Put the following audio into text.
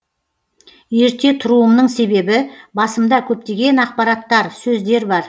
ерте тұруымның себебі басымда көптеген ақпараттар сөздер бар